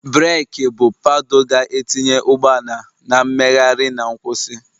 breeki bụ paddle ga-etinye ụgbọ ala na mmegharị na nkwụsị